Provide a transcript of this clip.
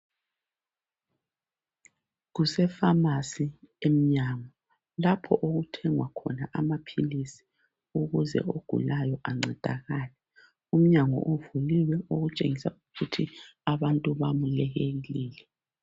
kuse famasi emnyango lapho okuthengwa khona amaphilisi ukuze ogulayo ancedakale umnyango uvuliwe okutshengisela ukuthi abantwu bayamukelile